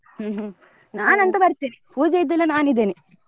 ಹ್ಮ್ ಹ್ಮ್ ಬರ್ತೇನೆ ಪೂಜೆ ಇದ್ದಲ್ಲಿ ನಾನಿದ್ದೇನೆ.